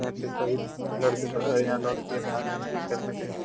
यहाँ पे सभी लड़के लड़के भाग रहे थे खेलने के लिए।